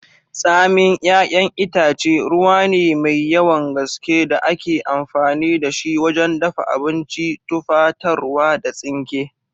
Tsamin 'yayan itace, ruwa ne mai yawan gaske da ake amfani da shi wajen dafa abinci, tufatarwa, da tsinke.